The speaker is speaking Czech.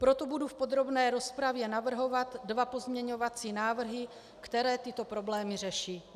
Proto budu v podrobné rozpravě navrhovat dva pozměňovací návrhy, které tyto problémy řeší.